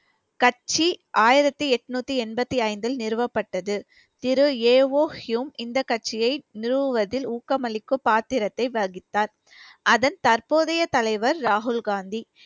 கட்சி ஆயிரத்தி எட்நூத்தி எண்பத்தி ஐந்தில் நிறுவப்பட்டது திரு ஏ ஓ ஹுயும் இந்த கட்சியை நிறுவுவதில் ஊக்கமளிக்கும் பாத்திரத்தை வகித்தார் அதன் தற்போதைய தலைவர் ராகுல் காந்தி